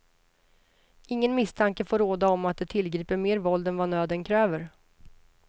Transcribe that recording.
Ingen misstanke får råda om att de tillgriper mer våld än vad nöden kräver.